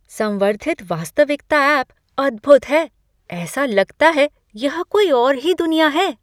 संवर्धित वास्तविकता ऐप अद्भुद है! ऐसा लगता है यह कोई और ही दुनिया है।